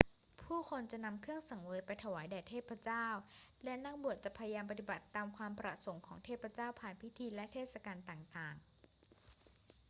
ผู้คนจะนำเครื่องสังเวยไปถวายแด่เทพเจ้า และนักบวชจะพยายามปฏิบัติตามความประสงค์ของเทพเจ้าผ่านทางพิธีและเทศกาลต่าง ๆ